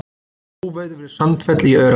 Óveður við Sandfell í Öræfum